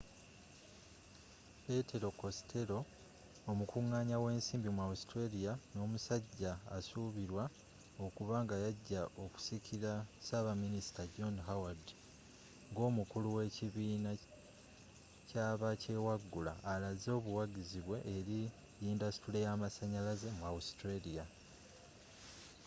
petero costello omukunganya wensimbi mu australia nomusajja asuubirwa okuba nga yajja okusikira ssabaminisita john howard ngomukulu qwekibiina kyabakyewaggula alaze obuwagizi bwe eri yindasitule yamasanyalaze mu australia